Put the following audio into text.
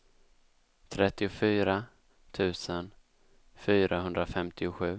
trettiofyra tusen fyrahundrafemtiosju